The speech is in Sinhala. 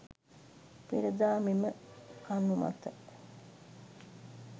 පෙර දා මෙම කණු මත